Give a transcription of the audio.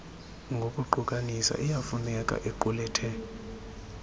ngokuqukanisa iyafuneka equlethe